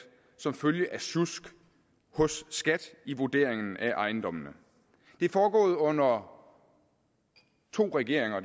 som følge af sjusk hos skat i vurderingen af ejendommene det er foregået under to regeringer